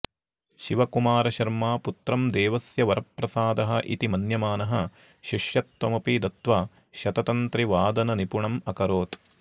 शिवकुमार शर्मा पुत्रं देवस्य वरप्रसादः इति मन्यमानः शिष्यत्वमपि दत्त्वा शततन्त्रिवादननिपुणम् अकरोत्